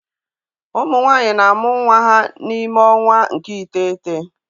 Ụmụ nwanyị na-amụ nwa ha n'ime ọnwa nke iteghete